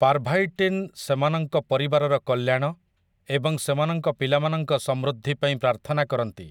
ପାର୍ଭାଇଟିନ୍ ସେମାନଙ୍କ ପରିବାରର କଲ୍ୟାଣ ଏବଂ ସେମାନଙ୍କ ପିଲାମାନଙ୍କ ସମୃଦ୍ଧି ପାଇଁ ପ୍ରାର୍ଥନା କରନ୍ତି ।